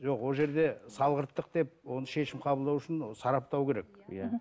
жоқ ол жерде салғырттық деп оны шешім қабылдау үшін ы сараптау керек иә мхм